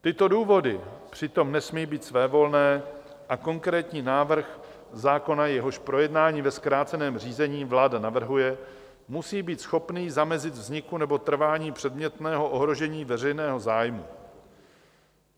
Tyto důvody přitom nesmí být svévolné a konkrétní návrh zákona, jehož projednání ve zkráceném řízení vláda navrhuje, musí být schopný zamezit vzniku nebo trvání předmětného ohrožení veřejného zájmu.